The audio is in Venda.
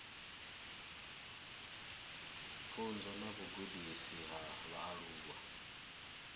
pfunzo na vhugudisi ha vhaaluwa